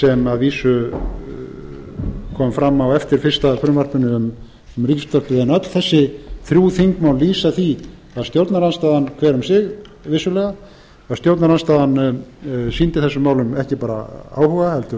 sem að vísu kom fram á eftir fyrsta frumvarpinu um ríkisútvarpið en öll þessi þrjú þingmál lýsa því að stjórnarandstaðan hver um sig vissulega að stjórnarandstaðan sýndi þessum málum ekki bara áhuga